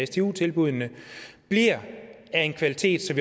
stu tilbuddene bliver af en kvalitet så